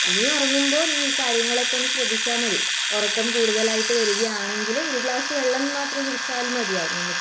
ഇനി ഉറങ്ങുമ്പോൾ നീ ഈ കാര്യങ്ങളൊക്കെ ശ്രദ്ധിച്ചാൽ മതി ഉറക്കം കൂടുതലായിട്ട് വരികയാണെങ്കിൽ ഒരു ഗ്ലാസ് വെള്ളം മാത്രം കുടിച്ചാൽ മതിയാവും നമ്മക്ക്